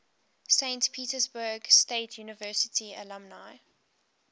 saint petersburg state university alumni